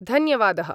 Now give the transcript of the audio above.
धन्यवादः